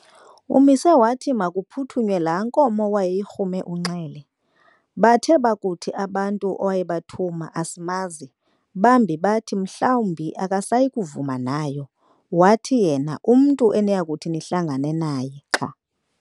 Umise wathi makuphuthunywe laa nkomo wayeyirhume uNxele, bathe bakuthi abantu awayebathuma "Asimazi", bambi bathi, "Mhlawumbi akasayikuvuma nayo", wathi yena, "Umntu eniyakuthi nihlangane naye xa